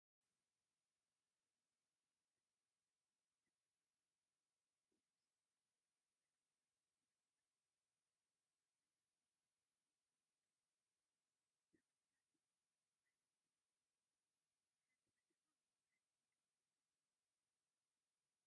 ፍሉይን ምልኩዕን ቦታ ይረአ ኣሎ፡፡ ብተፈጥራኣውን ብሰብ ዝተተኸሉን ሓምለዋይ ተኽለታት ዝፀበቐ ቦታ ምዃኑ የመልክት፡፡ ጥቕሚ ተኽልታት ንሓንቲ ከተማ ወይ ዓዲ ዶ ትጠቕሱ?